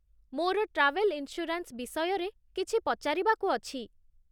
ମୋର travel insurance ବିଷୟରେ କିଛି ପଚାରିବାକୁ ଅଛି